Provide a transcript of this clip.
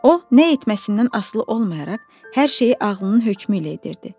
O nə etməsindən asılı olmayaraq hər şeyi ağlının hökmü ilə edirdi.